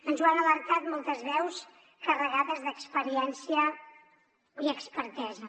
ens ho han alertat moltes veus carregades d’experiència i expertesa